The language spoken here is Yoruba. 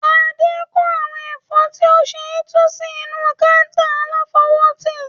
Adé kó àwọn ẹ̀fọ́ tí ó ṣẹ̀ tu sí inú kata aláfọwótì.